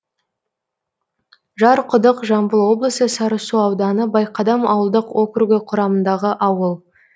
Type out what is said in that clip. жарқұдық жамбыл облысы сарысу ауданы байқадам ауылдық округі құрамындағы ауыл